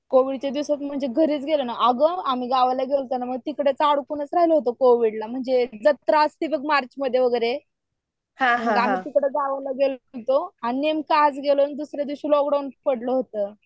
कॅव्हिडच्या दिवसात म्हणजे घरीच गेले ना अंग मी घरी गेले होते ना. आग आम्ही गावाकडे गेलते ना तिकडे अडकूनच राहिले होते कोविड ला. जत्रा असते बघ मार्च मध्ये वगैरे आम्ही तिकडे गावाला गेलो होतो आणि नेमकं दुसरे दिवशी लोकडाऊन पडलं होत.